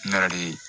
N yɛrɛ de ye